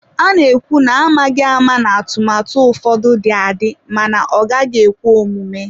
A na-ekwu n'amaghị ama na atụmatụ ụfọdụ dị adị mana ọ gaghị ekwe omume.